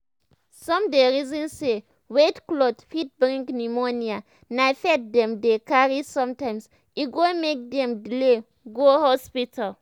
some dey reason say wet cloth fit bring pneumonia na faith dem dey carry sometimes e go make dem delay go hospital.